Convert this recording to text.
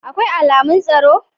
Akwai alamun tsaro?